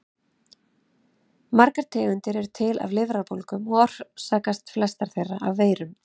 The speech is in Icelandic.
Margar tegundir eru til af lifrarbólgum og orsakast flestar þeirra af veirum.